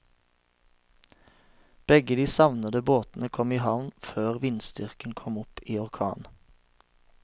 Begge de savnede båtene kom i havn før vindstyrken kom opp i orkan.